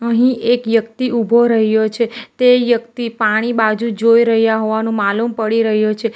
હી એક યક્તિ ઊભો રહ્યો છે તે યક્તિ પાણી બાજુ જોઈ રહ્યા હોવાનું માલુમ પડી રહ્યો છે.